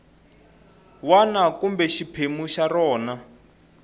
wana kumbe xiphemu xa rona